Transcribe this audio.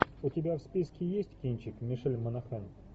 у тебя в списке есть кинчик мишель монахэн